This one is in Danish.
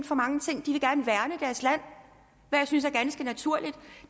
for mange ting og jeg synes er ganske naturligt